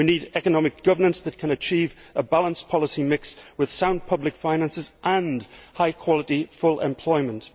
We need economic governance that can achieve a balanced policy mix, with sound public finances and high quality full employment.